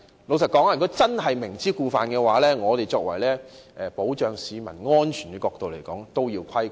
老實說，如果真是明知故犯，從保障市民安全的角度而言必定要規管。